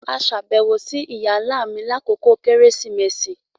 A ṣabẹwo si iya-nla mi lakoko Keresimesi